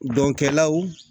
Dɔnkɛlaw